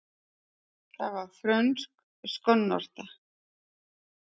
Það var frönsk skonnorta.